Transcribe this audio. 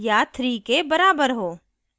या 3 के बराबर हो